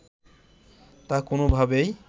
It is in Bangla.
তা কোনোভাবেই